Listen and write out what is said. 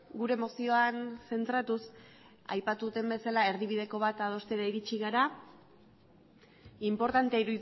gure mozioan zentratuz aipatu dudan bezala erdibideko bat adostera iritsi gara inportantea